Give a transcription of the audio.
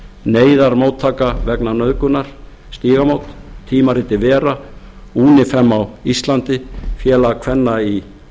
neyðarmóttaka vegna nauðgunar stígamót tímaritið vera unifem á íslandi félag kvenna í